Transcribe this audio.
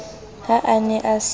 ha a ne a se